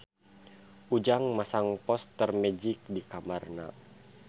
Ujang masang poster Magic di kamarna